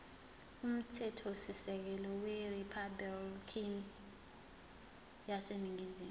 umthethosisekelo weriphabhulikhi yaseningizimu